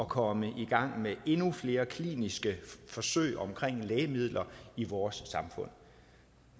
komme i gang med endnu flere kliniske forsøg omkring lægemidler i vores samfund